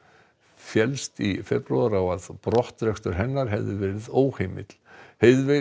féllst í febrúar á að brottrekstur hennar hefði verið óheimill